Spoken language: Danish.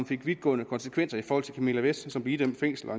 fik vidtgående konsekvenser for camilla vest som blev idømt fængsel og